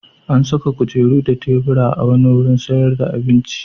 An saka kujeru da tebura a wani wurin sayar da abinci.